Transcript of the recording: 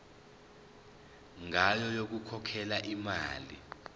ngayo yokukhokhela imali